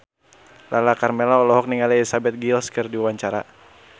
Lala Karmela olohok ningali Elizabeth Gillies keur diwawancara